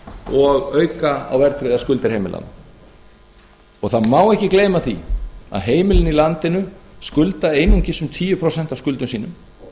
og auka á verðtryggðar skuldir heimilanna það má ekki gleyma því að heimilin í landinu skulda einungis um tíu prósent af skuldum sínum